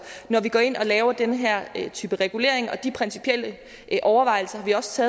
når vi går ind og laver den her type regulering de principielle overvejelser har vi også